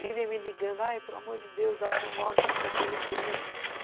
Vivem me ligando, aí, pelo amor de Deus, dá o teu nome, que eu preciso ter referência.